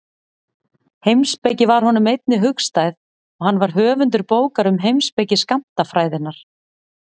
Heimspeki var honum einnig hugstæð og hann var höfundur bókar um heimspeki skammtafræðinnar.